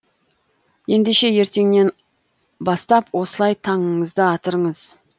ендеше ертеңнен бастап осылай таңыңызды атырыңыз